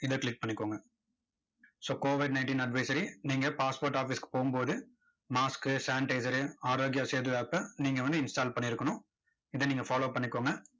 இதை click பண்ணிக்கோங்க so covid ninteen advisory நீங்க passport office க்கு போகும் போது mask sanitizer ரு ஆரோக்கியா சேது app அ நீங்க வந்து install பண்ணி இருக்கணும். இதை நீங்க follow பண்ணிக்கோங்க.